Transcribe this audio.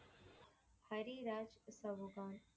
Hari Raj Chauhan.